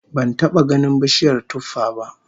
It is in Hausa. Ban taba ganin bishiyar tuffah ba